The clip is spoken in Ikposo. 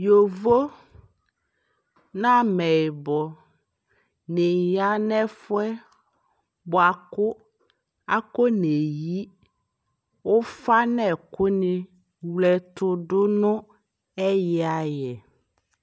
Yovo nʋ amɛyibɔ di ya nʋ ɛfuɛ boa kʋ akoneyi ʋfa n'ɛkʋni wletʋdʋ nʋ ɛyi ayɛ